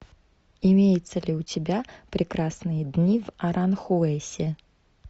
имеется ли у тебя прекрасные дни в аранхуэсе